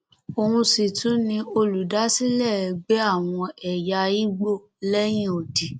òun sì tún ni olùdásílẹ ẹgbẹ àwọn ẹyà igbó lẹyìn odi